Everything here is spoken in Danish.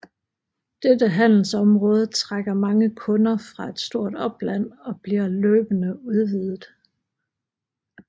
Dette handelsområde trækker mange kunder fra et stort opland og bliver løbende udvidet